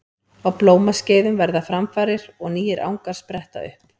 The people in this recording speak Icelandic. Á blómaskeiðum verða framfarir og nýir angar spretta upp.